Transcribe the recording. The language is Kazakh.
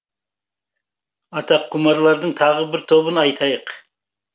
аттақұмарлардың тағы бір тобын айтайық